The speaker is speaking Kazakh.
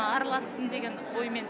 аралассын деген оймен